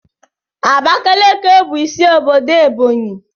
Abakaliki bụ isi obodo Ebonyi.